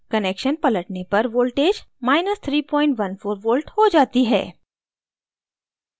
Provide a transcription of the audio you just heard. connection पलटने पर voltage 314v हो जाती है